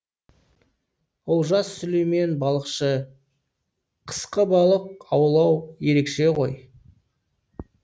олжас сүлеймен балықшы қысқы балық аулау ерекше ғой